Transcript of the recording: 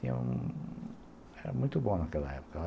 Tinha um... Era muito bom naquela época.